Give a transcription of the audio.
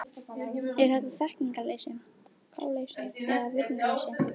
Er þetta þekkingarleysi, gáleysi eða virðingarleysi?